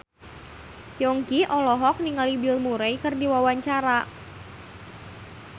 Yongki olohok ningali Bill Murray keur diwawancara